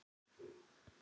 Horfi á hana dreyma.